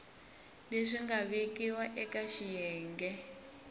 leswi nga vekiwa eka xiyenge